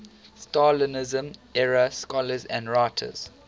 stalinism era scholars and writers